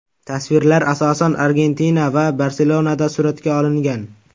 Tasvirlar, asosan, Argentina va Barselonada suratga olingan.